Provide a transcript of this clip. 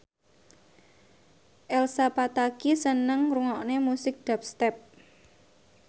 Elsa Pataky seneng ngrungokne musik dubstep